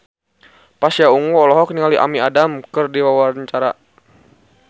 Pasha Ungu olohok ningali Amy Adams keur diwawancara